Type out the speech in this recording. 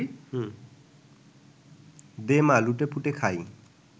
দে মা, লুটপুটে খাই